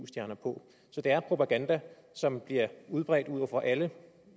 stjerner på så det er propaganda som bliver udbredt over for alle